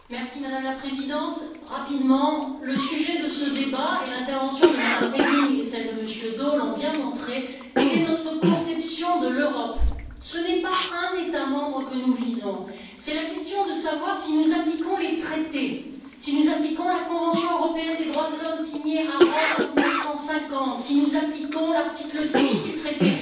Madame la Présidente, je voudrais rapidement indiquer que le sujet de ce débat et les interventions de M Reding et de M. Daul l'ont bien montré c'est notre conception de l'Europe. Ce n'est pas un État membre que nous visons, c'est la question de savoir si nous appliquons les traités, si nous appliquons la Convention européenne des droits de l'homme signée à Rome en 1950, si nous appliquons l'article 6 du traité.